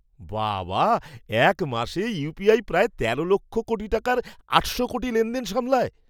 বাবা! এক মাসে ইউপিআই প্রায় ১৩ লক্ষ কোটি টাকার ৮০০ কোটি লেনদেন সামলায়।